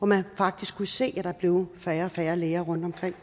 man faktisk kunne se at der blev færre og færre læger rundt omkring